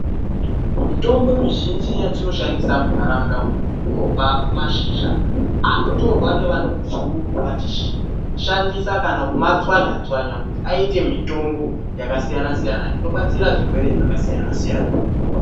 Mitombo mizhinji yatinoshandisa munharaunda umu inobva kumashizha anotorwa nevanhu vechikuru vachishandisa kana kumatswanya tswanaya kuti aite mitombo yakasiyana siyana inobatsira zvirwere zvakasiyana siyana.